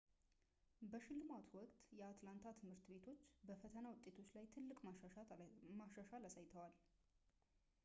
በሽልማቱ ወቅት የአትላንታ ትምህርት ቤቶች በፈተና ውጤቶች ላይ ትልቅ መሻሻል አሳይተዋል